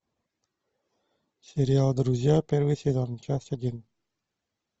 сериал друзья первый сезон часть один